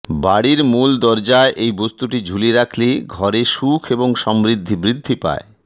বাড়ির মূল দরজায় এই বস্তুটি ঝুলিয়ে রাখলে ঘরে সুখ এবং সমৃদ্ধি বৃদ্ধি পায়